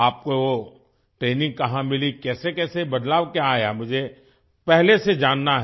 आपको ट्रेनिंग कहाँ मिली कैसेकैसे बदलाव क्या आया मुझे पहले से जानना है